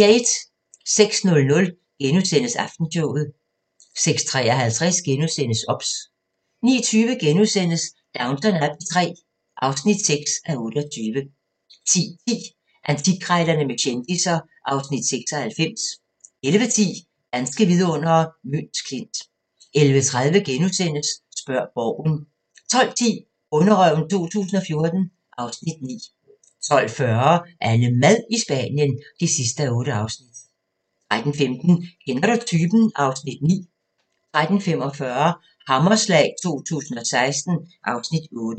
06:00: Aftenshowet * 06:53: OBS * 09:20: Downton Abbey III (6:28)* 10:10: Antikkrejlerne med kendisser (Afs. 96) 11:10: Danske vidundere: Møns Klint 11:30: Spørg Borgen * 12:10: Bonderøven 2014 (Afs. 9) 12:40: AnneMad i Spanien (8:8) 13:15: Kender du typen? (Afs. 9) 13:45: Hammerslag 2016 (Afs. 8)